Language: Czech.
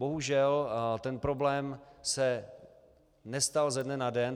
Bohužel ten problém se nestal ze dne na den.